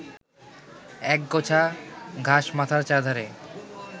একগোছা ঘাস মাথার চারধারে